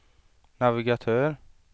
navigatör